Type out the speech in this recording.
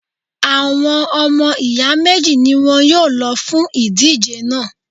Àwọn ọmọ ìyá méjì ni wọn yóò lọ fún ìdíje náà